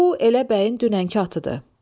Bu elə bəyin dünənki atıdır.